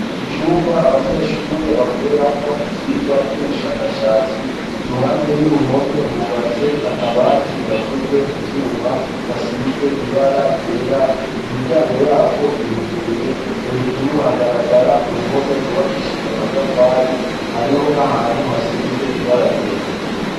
Icumba abanyeshure bakweramwo ivyirwa vy'ubushakashatsi i ruhande y'uruhome hubatse akabati gakozwe mu vyuma gasize ibara ryera imiryango yako iruguruye hejuru hagaragara uruhome rubakishijwa matafari hariho nahantu hasize ibara ryera.